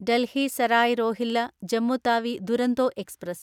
Delhi Sarai Rohilla Jammu Tawi Duronto express